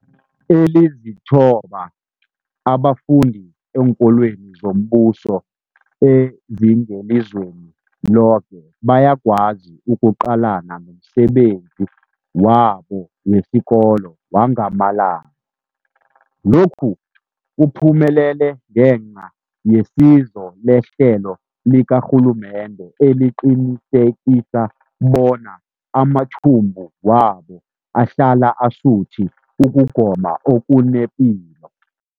Ezilithoba abafunda eenkolweni zombuso ezingelizweni loke bayakwazi ukuqalana nomsebenzi wabo wesikolo wangamalanga. Lokhu kuphumelele ngenca yesizo lehlelo likarhulumende eliqinisekisa bona amathumbu wabo ahlala asuthi ukugoma okunepilo.